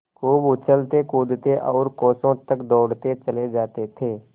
खूब उछलतेकूदते और कोसों तक दौड़ते चले जाते थे